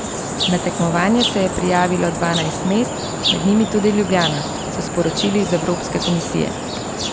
Na tekmovanje se je prijavilo dvanajst mest, med njimi tudi Ljubljana, so sporočili iz Evropske Komisije.